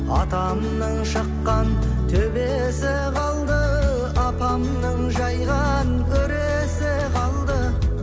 атамның шыққан төбесі қалды апамның жайған өресі қалды